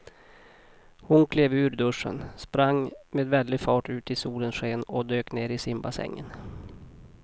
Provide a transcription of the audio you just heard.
Hon klev ur duschen, sprang med väldig fart ut i solens sken och dök ner i simbassängen.